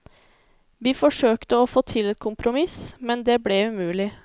Vi forsøkte å få til et kompromiss, men det ble umulig.